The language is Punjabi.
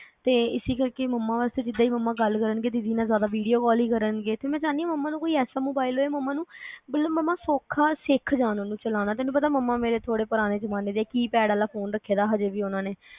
ਤੇ ਇਸੇ ਕਰਕੇ ਮਮਾਂ ਵਾਸਤੇ ਜਿਦਾ ਈ ਮਮਾਂ ਗੱਲ ਕਰਨਗੇ ਦੀਦੀ ਨਾਲ ਜਿਆਦਾ ਵੀਡਿਓ ਕਾਲ ਈ ਕਰਨਗੇ ਮੈ ਚਾਹਨੀ ਆ ਮਮਾਂ ਨੂੰ ਕੋਈ ਐਸਾ ਮੋਬਾਈਲ ਹੋਵੇ ਮਤਲਬ ਮਮਾਂ ਸੋਖਾ ਸਿਖ ਜਾਣ ਉਨੂੰ ਚਲਾਣਾ ਤੈਨੂੰ ਪਤਾ ਮੇਰੇ ਮਮਾਂ ਥੋੜੇ ਪੁਰਾਣੇ ਜੁਮਾਨੇ ਦੇ keypad ਆਲਾ ਫੋਨ ਰੱਖੀਦਾ ਹਜੇ ਵੀ ਉਨ੍ਹਾਂ ਨੇ